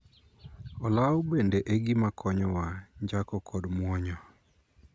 Olaw bende e gima konyowa njako kod muonyo.